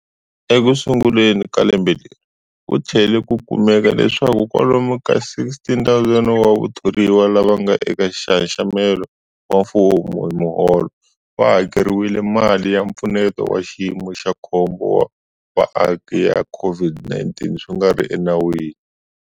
Ekusunguleni ka lembe leri, ku tlhele ku kumeka leswaku kwalomu ka 16,000 wa vathoriwa lava nga eka nxaxamelo wa mfumo wa miholo va hakeriwile mali ya Mpfuneto wa Xiyimo xa Khombo wa Vaaki ya COVID-19 swi nga ri enawini.